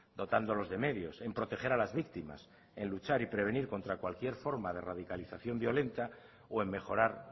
dotándolos de medios en proteger a las víctimas en luchar y prevenir contra cualquier forma de radicalización violenta o en mejorar